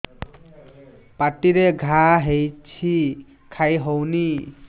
ପାଟିରେ ଘା ହେଇଛି ଖାଇ ହଉନି